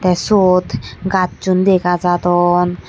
tey syot gassun dega jadon.